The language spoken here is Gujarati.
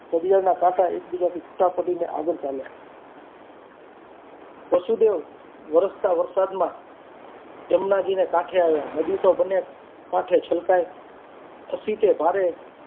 ઘડિયાળના કાંટા એકબીજાથી છૂટા પડીને એકબીજાથી આગળ ચાલ્યા વસુદેવ વરસતા વરસાદમાં જમનાજીના કાંઠે આવ્યા નદી તો બંને કાંઠે છલકાય અસી તે ભારે